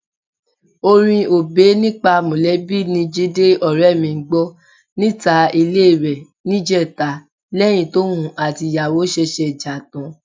Orin Obey nípa mọ̀lẹ́bí ni Jídé ọ̀rẹ́ mi ń gbọ́ níta ilé rẹ̀ níjẹta lẹ́yìn tóun àtìyàwó ṣẹ̀ṣẹ̀ jà tán.